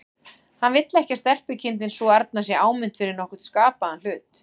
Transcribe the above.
Hann vill ekki að stelpukindin sú arna sé áminnt fyrir nokkurn skapaðan hlut.